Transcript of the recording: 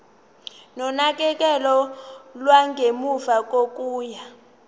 nonakekelo lwangemuva kokuya